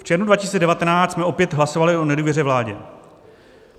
V červnu 2019 jsme opět hlasovali o nedůvěře vládě.